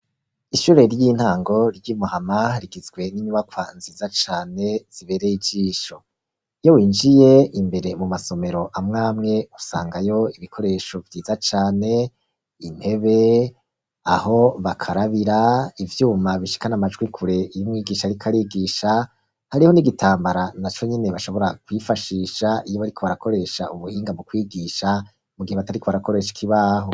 ishure ry'intango ry'imuhama rigizwe n'inyubakwa nziza cane zibereye ijisho, iyo winjiye imbere mu masomero amwamwe usangayo ibikoresho vyiza cane, intebe, aho bakarabira ivyuma bishikana amajwi kure y'umwigisha Ariko arigisha, hariho n'igitambara naco nyene bashobora kwifashisha iyo bariko barakoresha ubuhinga mu kwigisha mu gihe batariko barakoresha ikibaho.